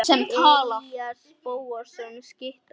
Elías Bóasson skytta.